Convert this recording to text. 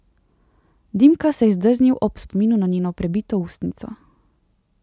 Dimka se je zdrznil ob spominu na njeno prebito ustnico.